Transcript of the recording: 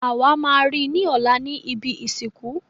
Àwa má ri ni ọlá ni ìbí ìsìnkú.